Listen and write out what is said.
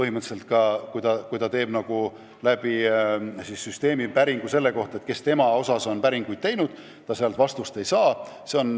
Isegi kui isik teeb süsteemi kasutades päringu, kes tema kohta on päringuid teinud, siis ta sealt vastust ei saa.